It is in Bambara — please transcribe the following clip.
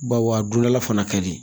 Baw a dondala fana ka di